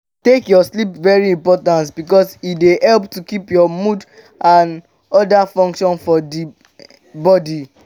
take your sleep very important because e dey help to keep your mood and oda functions for di body